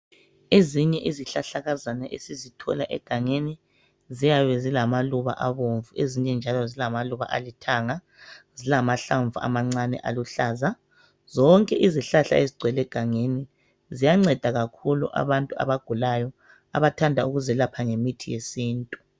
ezinye izihlahlahlakazana esizithola egangeni ziyabe zilamaluba abomvu ezinye njalo zilamaluba alithanga zilahlamvu amancane aluhlaza zonke izihlahla ezigcwele egangeni ziyanceda kakhulu abantu abagulayo abathanda ukuzelapha ngemithi yesintu